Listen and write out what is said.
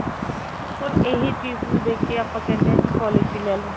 ਹੁਣ ਇਹੀ ਚੀਜ਼ ਨੂੰ ਦੇਖ ਕੇ ਆਪਾਂ ਕਹਿਨੇ ਆ ਜੀ policy ਲੈਲੋ